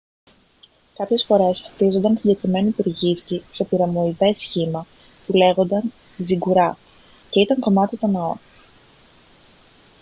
κάποιες φορές χτίζονταν συγκεκριμένοι πυργίσκοι σε πυραμιδοειδές σχήμα που λέγονταν ζιγκουράτ και ήταν κομμάτι των ναών